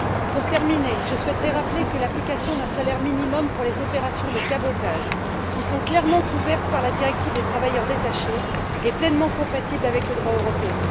Pour terminer, je souhaiterais rappeler que l'application d'un salaire minimum aux opérations de cabotage, qui sont clairement couvertes par la directive sur les travailleurs détachés, est pleinement compatible avec le droit européen.